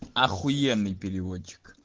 ахуенный переводчик